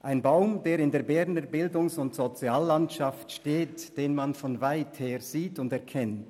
Es ist ein Baum, der in der Berner Bildungs- und Soziallandschaft steht, und den man von weither sieht und erkennt.